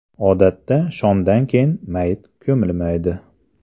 Odatda shomdan keyin mayit ko‘milmaydi.